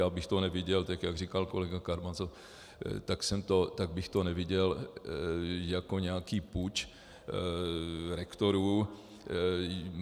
Já bych to neviděl tak, jak říkal kolega Karamazov, tak bych to neviděl jako nějaký puč rektorů.